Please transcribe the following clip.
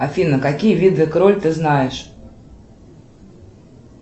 афина какие виды кроль ты знаешь